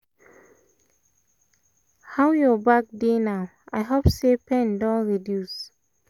how your back dey now? i hope say pain don reduce